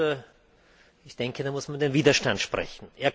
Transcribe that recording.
Und ich denke, da muss man über den Widerstand sprechen.